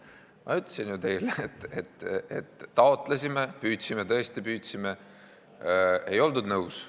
Ma ju ütlesin teile, et me taotlesime, püüdsime, tõesti püüdsime, aga ei oldud nõus.